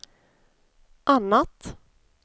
annat